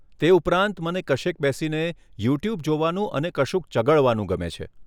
તે ઉપરાંત, મને કશેક બેસીને યુ ટ્યુબ જોવાનું અને કશુંક ચગળવાનું ગમે છે.